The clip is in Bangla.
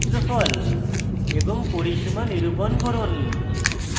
আয়তক্ষেত্রের ক্ষেত্রফল এবং পরিসীমা নিরুপন করুন